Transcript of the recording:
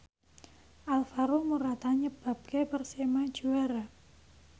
Alvaro Morata nyebabke Persema juara